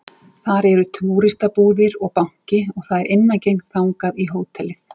Þar eru túristabúðir og banki og það er innangengt þaðan í hótelið